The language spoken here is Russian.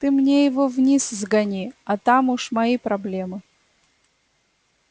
ты мне его вниз сгони а там уж мои проблемы